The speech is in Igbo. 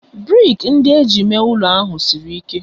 brik ndị e ji mee ụlọ ahụ siri ike